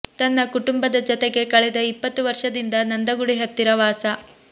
ತನ್ನ ಕುಟುಂಬದ ಜತೆಗೆ ಕಳೆದ ಇಪ್ಪತ್ತು ವರ್ಷದಿಂದ ನಂದಗುಡಿ ಹತ್ತಿರ ವಾಸ